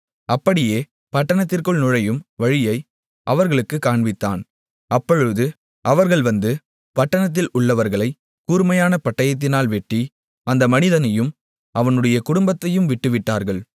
அப்படியே பட்டணத்திற்குள் நுழையும் வழியை அவர்களுக்குக் காண்பித்தான் அப்பொழுது அவர்கள் வந்து பட்டணத்தில் உள்ளவர்களைக் கூர்மையான பட்டயத்தினால் வெட்டி அந்த மனிதனையும் அவனுடைய குடும்பத்தையும் விட்டுவிட்டார்கள்